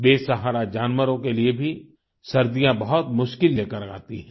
बेसहारा जानवरों के लिए भी सर्दियाँ बहुत मुश्किल लेकर आती हैं